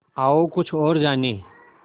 आओ कुछ और जानें